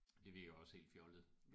Det virker også helt fjollet